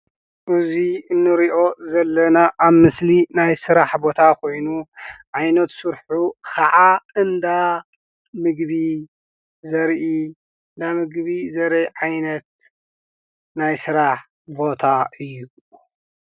እዚ እንሪኦ ዘለና ኣብ ምስሊ ናይ ስራሕ ቦታ ኾይኑ ዓይነት ስርሑ ኸዓ እንዳ ምግቢ ዘርኢ ፣እንዳ ምግቢ ዘርኢ ዓይነት ናይ ስራሕ ቦታ እዩ፡፡